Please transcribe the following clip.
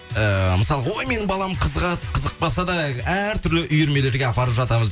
ііі мысалға ой менің балам қызығады қызықпаса да әр түрлі үйірмелерге апарып жатамыз